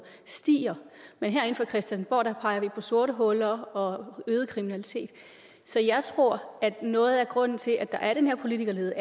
stiger men herinde fra christiansborg peger vi på sorte huller og øget kriminalitet så jeg tror at noget af grunden til at der er den her politikerlede